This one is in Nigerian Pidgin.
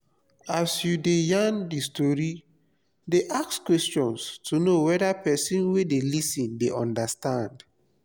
as you de yarn di story de ask questions to know whether persin wey de lis ten de understand